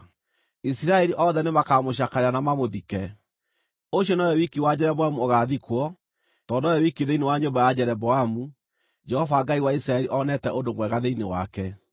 Isiraeli othe nĩmakamũcakaĩra na mamũthike. Ũcio nowe wiki wa Jeroboamu ũgaathikwo, tondũ nowe wiki thĩinĩ wa nyũmba ya Jeroboamu, Jehova, Ngai wa Isiraeli, onete ũndũ mwega thĩinĩ wake.